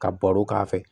Ka baro k'a fɛ